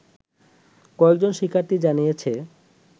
কয়েকজন শিক্ষার্থী জানিয়েছে